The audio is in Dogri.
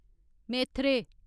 मेथरे